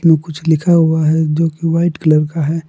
वो कुछ लिखा हुआ है जो कि व्हाइट कलर का है।